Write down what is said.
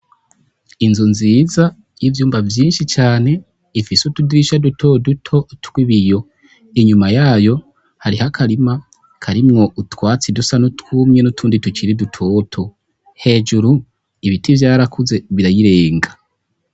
Inzu nziza y'ivyumba vyinshi cane, ifise utudirisha duto duto tw'ibiyo, inyuma yayo hariho akarima karimwo utwatsi dusa nutwumye n'utundi tukiri dutoto , hejuru ibiti vyarakuze birayirenga.